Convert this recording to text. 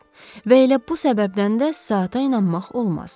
Və elə bu səbəbdən də saata inanmaq olmaz.